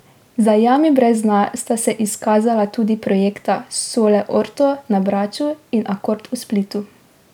Za jami brez dna sta se izkazala tudi projekta Sole Orto na Braču in Akord v Splitu.